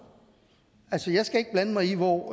altså jeg skal ikke blande mig i hvor